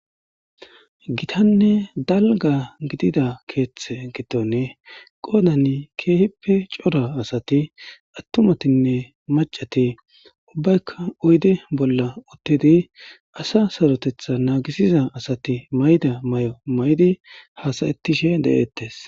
Gitanne dalga gidida keeththe gitonne qoodan keehippe cora asati attumatinne macati ubbaykka oydi bolla uttidi asa sarotetha naagisiza asati mayda may7o may7di haasayettishe de7eettes